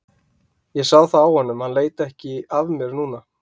Og ég sá það á honum, hann leit ekki af mér núna.